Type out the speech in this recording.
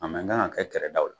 A man kan ka kɛ kɛrɛdaw la